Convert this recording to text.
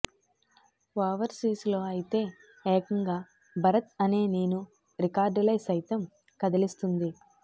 overseas లో అయితే ఏకంగా భరత్ అనే నేను రికర్డులై సైతం కదిలిస్తుంది